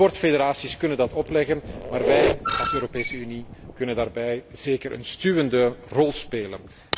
De sportfederaties kunnen dat opleggen, maar wij als Europese Unie kunnen daarbij zeker een stuwende rol spelen.